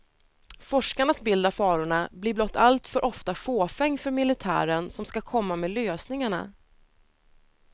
Forskarnas bild av farorna blir blott alltför ofta fåfäng för militären som ska komma med lösningarna.